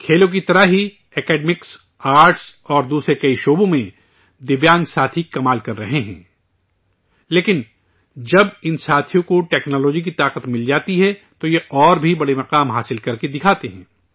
کھیلوں کی طرح ہی، آرٹس، اکیڈمکس اور دوسرے کئی شعبوں میں دویانگ ساتھی کمال کر رہے ہیں، لیکن، جب ان ساتھیوں کو ٹیکنالوجی کی طاقت مل جاتی ہے، تو یہ اور بھی بڑے مقام حاصل کرکے دکھاتے ہیں